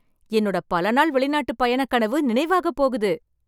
என்னோட பல நாள் வெளிநாட்டுப் பயணக் கனவு நினைவாகப் போகுது.